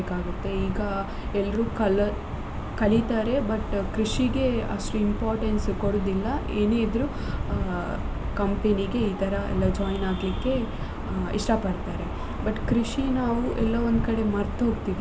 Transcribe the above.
ಈಗ ಎಲ್ರು ಕಲರ್~ ಕಲಿತಾರೆ but ಕೃಷಿಗೆ ಅಷ್ಟು importance ಕೊಡುದಿಲ್ಲ ಏನೇ ಇದ್ರು ಅ companyಗೆ ಎಲ್ಲ ಈ ತರ ಎಲ್ಲ join ಆಗ್ಲಿಕ್ಕೆ ಇಷ್ಟ ಪಡ್ತಾರೆ but ಕೃಷಿನ ನಾವು ಎಲ್ಲೋ ಒಂದ್ ಕಡೆ ಮರ್ತು ಹೋಗ್ತಿದ್ದೇವೆ.